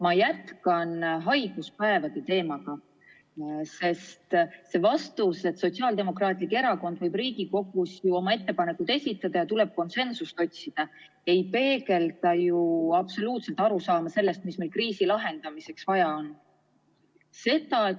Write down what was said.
Ma jätkan haiguspäevade teemaga, sest vastus, et Sotsiaaldemokraatlik Erakond võib Riigikogus oma ettepanekud esitada ja et tuleb konsensust otsida, ei peegelda ju absoluutselt arusaama sellest, mida meil kriisi lahendamiseks vaja on.